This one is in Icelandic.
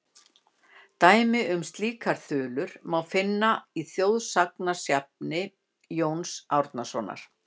Dæmi um slíkar þulur má finna í þjóðsagnasafni Jóns Árnasonar:.